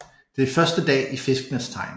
Det er første dag i Fiskenes tegn